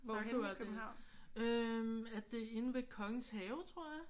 Sakura det er. Øh det er inde ved Kongens Have tror jeg